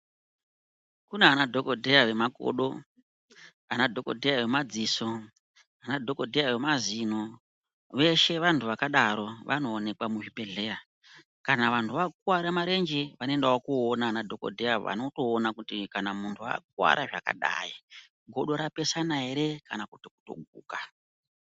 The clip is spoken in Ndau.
Kunanadhokodheya vemazino ,anadhokodheya vemakodo ,anadhokodheya vemadziso veshe vanhu vakadaro vanooka muzvibhehleya, kana vanhu vakuwara marenje vanoendawo koona anadhokodheya vanotoona kuti kana munhu akuwara zvakadai godo rapesana ere kana kuti kutoguka.